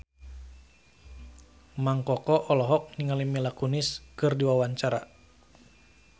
Mang Koko olohok ningali Mila Kunis keur diwawancara